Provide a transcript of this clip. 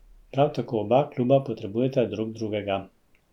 Prav tako oba kluba potrebujeta drug drugega.